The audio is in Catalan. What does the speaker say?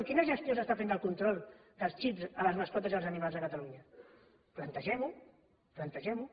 quina gestió s’està fent del control dels xips a les mascotes i els animals de catalunya plantegem ho plantegem ho